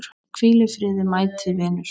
Hvíl í friði mæti vinur.